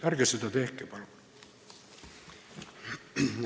Ärge seda tehke, palun!